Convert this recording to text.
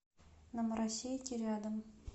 на маросейке рядом